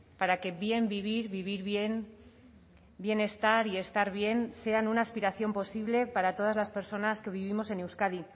para que bien vivir vivir bien bien estar y estar bien sean una aspiración posible para todas las personas que vivimos en euskadi